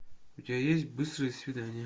у тебя есть быстрые свидания